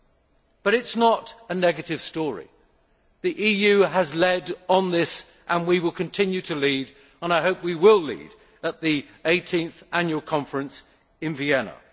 It is, however, not all a negative story the EU has led on this and will continue to lead, and I hope we will lead at the 18th Annual Conference in Vienna.